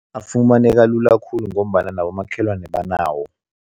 Afumaneka lula khulu ngombana nabomakhelwana banawo.